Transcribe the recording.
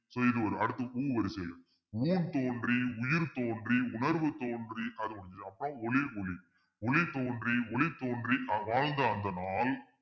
so இது ஒரு அடுத்து உ வரிசைல ஊண் தோன்றி உயிர் தோன்றி உணர்வு தோன்றி அது முடிஞ்சதுக்கு அப்புறம் ஒளி தோன்றி ஒலி தோன்றி ஆஹ் வாழ்ந்த அந்த நாள்